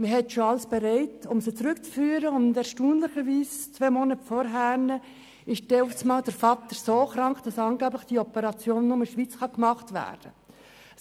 Wenn alles für die Rückführung bereit ist, wird der Vater zwei Monate vorher erstaunlicherweise plötzlich derart krank, dass die Operation angeblich nur in der Schweiz durchgeführt werden kann.